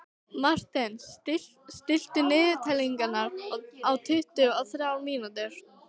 Marten, stilltu niðurteljara á tuttugu og þrjár mínútur.